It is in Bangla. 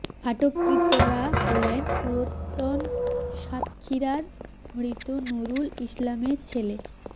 আটককৃতরা হলেন পুরাতন সাতক্ষীরার মৃত নুরুল ইসলামের ছেলে মো